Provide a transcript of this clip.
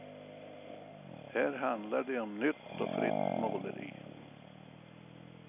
Här handlar det om nytt och fritt måleri.